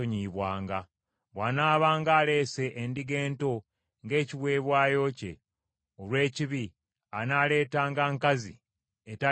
“ ‘Bw’anaabanga aleese endiga ento ng’ekiweebwayo kye olw’ekibi, anaaleetanga nkazi etaliiko kamogo.